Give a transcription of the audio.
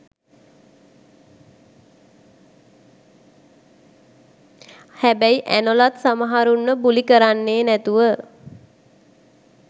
හැබැයි ඇනොලත් සමහරුන්ව බුලි කරන්නේ නැතුව